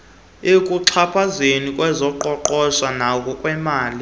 ekuxhaphaza ngokwezoqoqosho nangokwemali